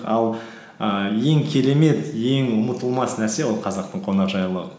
ал ііі ең керемет ең ұмытылмас нәрсе ол қазақтың қонақжайлылығы